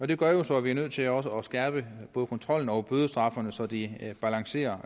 det gør jo så at vi er nødt til også at skærpe både kontrollen og bødestraffene så de balancerer